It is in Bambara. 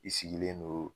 I sigilen do